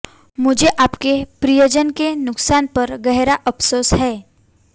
मुझे आपके प्रियजन के नुकसान पर गहरा अफसोस है